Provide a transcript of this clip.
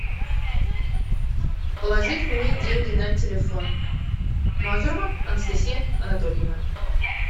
положить мне деньги на телефон мазурова анастасия анатольевна